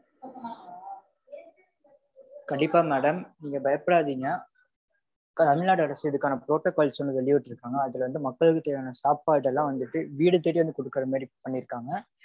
கண்டிப்பா madam. நீங்க பயப்படாதீங்க. தமிழ்நாடு அரசு இதுக்கான protocols வந்து வெளியிட்டீருக்காங்க. இதுக்கான protocols வந்து வெளியிட்டிருக்காங்க. அதுல வந்து மக்களுக்கு தேவையான சாப்பாடெல்லாம் வந்துட்டு வீடு தேடி வந்து கொடுக்கற மாதிரி பண்ணிருக்காங்க.